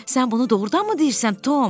Sən bunu doğrudanmı deyirsən, Tom?